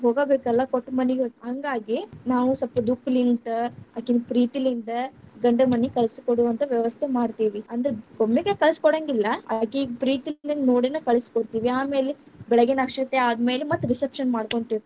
ಹೋಗಬೇಕಲ್ಲಾ ಕೊಟ್ಟಮನಿಗ ಹ ಹಂಗಾಗಿ ನಾವ್‌ ಸ್ವಲ್ಪ ದುಃಖಲಿಂತ್‌, ಅಕಿನ್‌ ಪ್ರೀತಿಲಿಂದ್‌ ಗಂಡನಮನಿಗ ಕಳಿಸಿ ಕೊಡುವಂತಾ ವ್ಯವಸ್ಥೆ ಮಾಡ್ತೀವಿ, ಅಂದ್ರ ಒಮ್ಮೆಗೆ ಕಳಿಸಕೊಡೆಂಗಿಲ್ಲಾ ಅಕಿಗ್‌ ಪ್ರೀತಿಲಿಂದ್‌ ನೋಡೆನೆ ಕಳಸ್ಕೊಡ್ತೇವಿ. ಆಮೇಲೆ ಬೆಳಗಿನ ಅಕ್ಷತೆ ಆದ ಮೇಲೆ ಮತ್ತ reception ಮಾಡಕೊಂತೀವ್ರಿ.